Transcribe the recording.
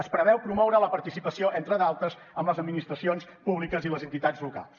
es preveu promoure la participació entre d’altres amb les administracions públiques i les entitats locals